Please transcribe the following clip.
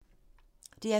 DR P3